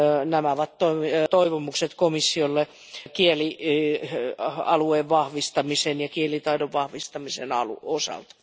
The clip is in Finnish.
Nämä ovat toivomukset komissiolle kielialueen vahvistamisen ja kielitaidon vahvistamisen osalta.